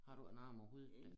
Har du ikke en arm over hovedet dér